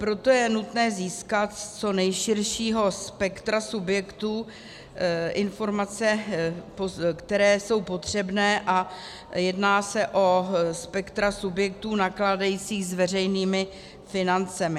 Proto je nutné získat z co nejširšího spektra subjektů informace, které jsou potřebné, a jedná se o spektra subjektů nakládajících s veřejnými financemi.